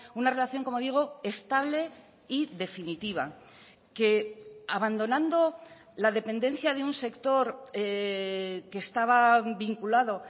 una relación como digo estable y definitiva que abandonando la dependencia de un sector que estaba vinculado